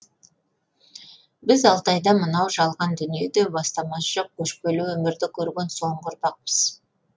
біз алтайда мынау жалған дүниеде баламасы жоқ көшпелі өмірді көрген соңғы ұрпақпыз